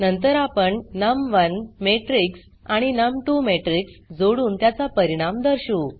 नंतर आपण नम1 मॅट्रिक्स आणि नम2 मॅट्रिक्स जोडुन त्याचा परिणाम दर्शवू